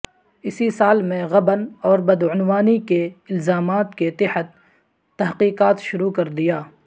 اسی سال میں غبن اور بدعنوانی کے الزامات کے تحت تحقیقات شروع کر دیا